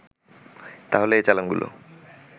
তাহলে এ চালানগুলো